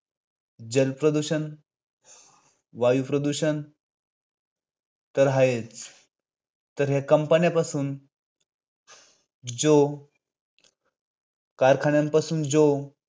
जल प्रदूषण, वायू प्रदूषण तर आहे तर हे companies पासून जो कारखान्यांपासून जो